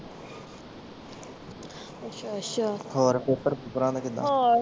ਅੱਛਾ ਅੱਛਾ ਅੱਛਾ ਹੋਰ ਪੇਪਰ ਪੂਪਰਾਂ ਦਾ ਕਿੱਦਾਂ?